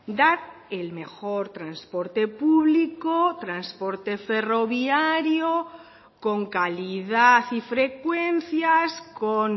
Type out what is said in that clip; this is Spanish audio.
dar el mejor transporte público transporte ferroviario con calidad y frecuencias con